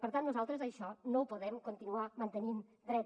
per tant nosaltres això no ho podem continuar mantenint dret